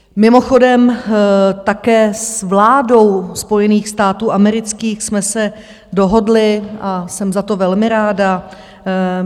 Mimochodem také s vládou Spojených států amerických jsme se dohodli a jsem za to velmi ráda.